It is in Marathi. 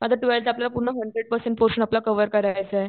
आता टवेल्ठ आपल्याला पूर्ण हंड्रेड पर्सेंट पोरशन आपला कव्हर करायचाय